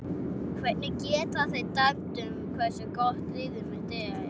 Hvernig geta þeir dæmt um hversu gott liðið mitt er?